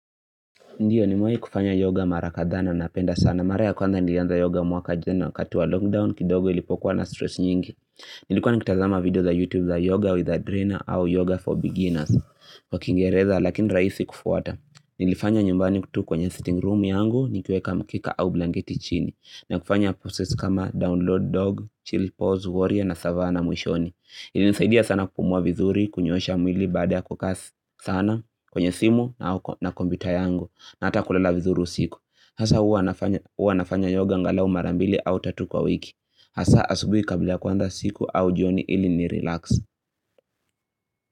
Ndiyo nimewai kufanya yoga mara kadhaa na napenda sana. Mara ya kwanza nilianza yoga mwaka jana wakati wa log down kidogo ilipokuwa na stress nyingi. Nilikuwa nikitazama video za youtube za yoga with a drainer au yoga for beginners. Wa kiingereza lakini raisi kufuata. Nilifanya nyumbani kwetu kwenye sitting room yangu nikiweka mkika au blangeti chini. Na kufanya process kama download dog, chill pause warrior na savana muishoni. Ilinisaidia sana kupumua vizuri kunyoosha mwili baada ya kukaa sana kwenye simu na kompyuta yangu. Na ata kulala vizuru usiku Hasa uwa nafanya yoga angalau mara mbili au tatu kwa wiki Hasa asubuhi kabla ya kuanza siku au jioni ili ni relax.